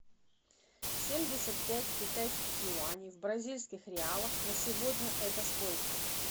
семьдесят пять китайских юаней в бразильских реалах на сегодня это сколько